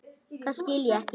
Það skil ég ekki.